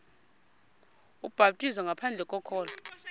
ubhaptizo ngaphandle kokholo